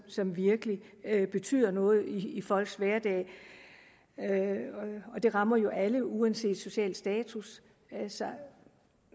som virkelig betyder noget i folks hverdag det rammer jo alle uanset social status